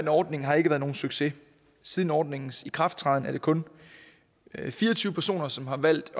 ordning har ikke været nogen succes siden ordningens ikrafttræden er det kun fire og tyve personer som har valgt